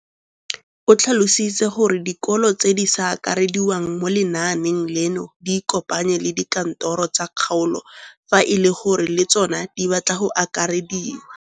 O tlhalositse gore dikolo tse di sa akarediwang mo lenaaneng leno di ikopanye le dikantoro tsa kgaolo fa e le gore le tsona di batla go akarediwa.